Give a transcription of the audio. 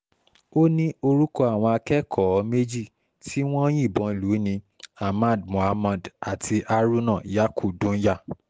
ó ní orúkọ àwọn akẹ́kọ̀ọ́ méjì tí wọ́n yìnbọn lù ni ahmad muhammad àti haruna is yaku dùnyà